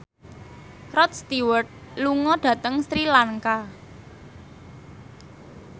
Rod Stewart lunga dhateng Sri Lanka